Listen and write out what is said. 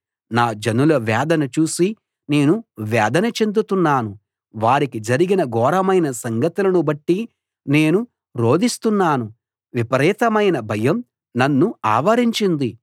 నా జనుల వేదన చూసి నేనూ వేదన చెందుతున్నాను వారికి జరిగిన ఘోరమైన సంగతులను బట్టి నేను రోదిస్తున్నాను విపరీతమైన భయం నన్ను ఆవరించింది